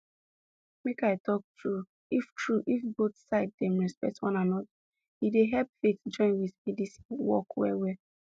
make i talk true if true if both side dem respect one anoda e dey help faithjoin with medicine work well well